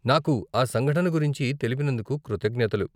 నాకు ఆ సంఘటన గురించి తెలిపినందుకు కృతజ్ఞతలు.